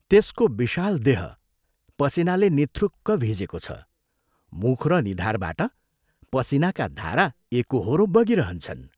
त्यसको विशाल देह पसीनाले निथुक्क भिजेको छ मुख र निधारबाट पसीनाका धारा एकोहोरो बगिरहन्छन्।